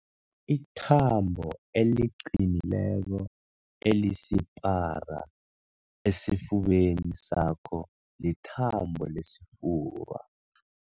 Ithambo eliqinileko elisipara esifubeni sakho lithambo lesifuba.